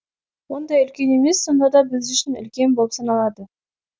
ондай үлкен емес сонда да біз үшін үлкен болып саналады